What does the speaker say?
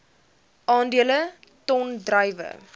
aandele ton druiwe